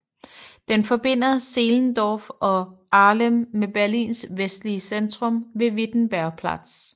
Den forbinder Zehlendorf og Dahlem med Berlins vestlige centrum ved Wittenbergplatz